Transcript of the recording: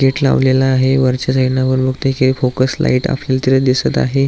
Gate लावलेल आहे वरच्या साईडन वर बगतोय कि फोकस लाइट आपल्याला तिथ दिसत आहे.